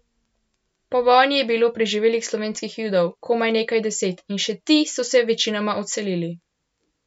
Po vojni je bilo preživelih slovenskih Judov komaj nekaj deset, in še ti so se večinoma odselili.